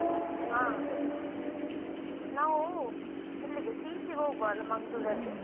ಹಾ ನಾವ್ ಇಲ್ಲಿಗೆ CC ಹೋಗ್ವಾ ಮಂಗ್ಲೂರ್ ಅಲ್ಲಿ.